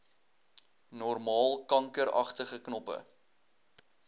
normaal kankeragtige knoppe